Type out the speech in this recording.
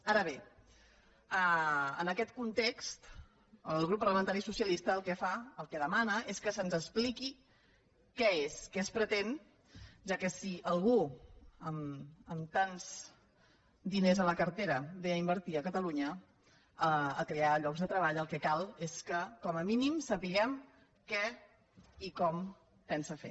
ara bé en aquest context el grup parlamentari socialista el que fa el que demana és que se’ns expliqui què és què es pretén ja que si algú amb tants diners a la cartera ve a invertir a catalunya a crear llocs de treball el que cal és que com a mínim sapiguem què i com ho pensa fer